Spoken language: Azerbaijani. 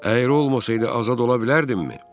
Əyri olmasaydı azad ola bilərdimmi?